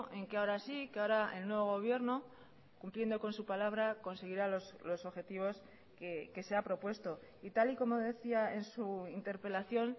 en que ahora sí que ahora el nuevo gobierno cumpliendo con su palabra conseguirá los objetivos que se ha propuesto y tal y como decía en su interpelación